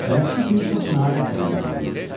Bələdçi fili çox məharətlə idarə eləyirdi.